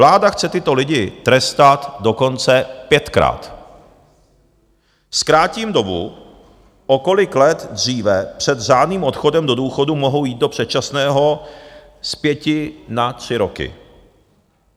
Vláda chce tyto lidi trestat dokonce pětkrát: zkrátí dobu, o kolik let dříve před řádným odchodem do důchodu mohou jít do předčasného, z pěti na tři roky.